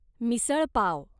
misal pav